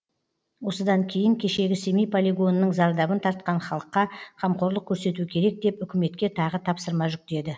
осыдан кейін кешегі семей полигонының зардабын тартқан халыққа қамқорлық көрсету керек деп үкіметке тағы тапсырма жүктеді